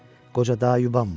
Qoca daha yubanma.